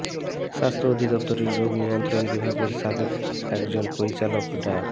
স্বাস্থ্য অধিদপ্তরের রোগ নিয়ন্ত্রণ বিভাগের সাবেক একজন পরিচালক ডা